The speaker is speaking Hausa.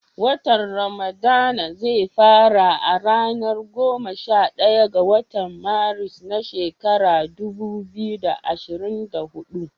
Watan ramadana zai fara a ranar goma sha ɗaya ga watan Maris, na shekarar dubu biyu da ashirin da hudu